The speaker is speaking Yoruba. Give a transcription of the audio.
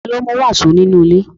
Ta ló mú wàsó nínú ilé?